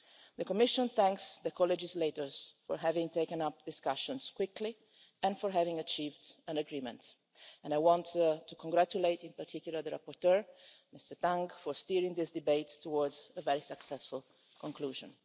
The Commission thanks the co legislators for having taken up discussions quickly and for having achieved an agreement, and I want to congratulate in particular the rapporteur, Mr Tang, for steering this debate towards a very successful conclusion.